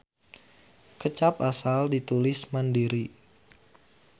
Kecap asal ditulis mandiri.